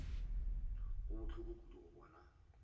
go bohloko kudu go bona